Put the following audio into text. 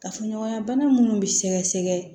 Kafoɲɔgɔnya bana minnu bɛ sɛgɛsɛgɛ